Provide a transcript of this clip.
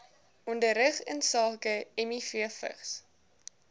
onderrig insake mivvigs